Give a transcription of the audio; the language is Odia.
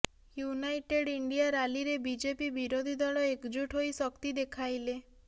ୟୁନାଇଟେଡ୍ ଇଣ୍ଡିଆ ରାଲିରେ ବିଜେପି ବିରୋଧୀ ଦଳ ଏକଜୁଟ୍ ହୋଇ ଶକ୍ତି ଦେଖାଇଲେ